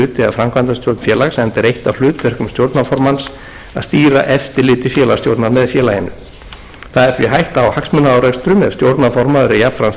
framkvæmdastjórn félags enda er eitt af hlutverkum stjórnarformanns að stýra eftirliti félagsstjórnar með félaginu það er því hætta á hagsmunaárekstrum ef stjórnarformaður er jafnframt